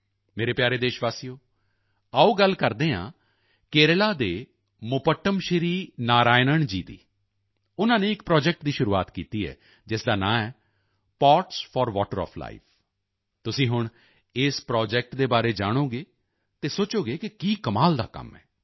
ਮੇਰੇ ਪਿਆਰੇ ਦੇਸ਼ਵਾਸੀਓ ਆਓ ਗੱਲ ਕਰਦੇ ਹਾਂ ਕੇਰਲਾ ਦੇ ਮੁਪੱਟਮ ਸ਼੍ਰੀ ਨਾਰਾਇਨਣ ਜੀ ਦੀ ਉਨ੍ਹਾਂ ਨੇ ਇੱਕ ਪ੍ਰੋਜੈਕਟ ਦੀ ਸ਼ੁਰੂਆਤ ਕੀਤੀ ਹੈ ਜਿਸ ਦਾ ਨਾਮ ਹੈ pots for water of life ਤੁਸੀਂ ਹੁਣ ਇਸ ਪ੍ਰੋਜੈਕਟ ਦੇ ਬਾਰੇ ਜਾਣੋਗੇ ਤਾਂ ਸੋਚੋਗੇ ਕਿ ਕੀ ਕਮਾਲ ਦਾ ਕੰਮ ਹੈ